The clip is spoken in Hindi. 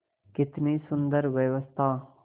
कितनी सुंदर व्यवस्था